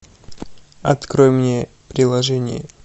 открой мне приложение